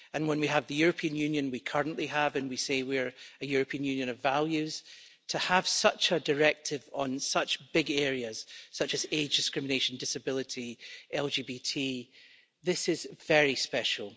When we have the European Union we currently have and we say we are a European Union of values, to have such a directive on such big areas such as age discrimination, disability, LGBT, is very special.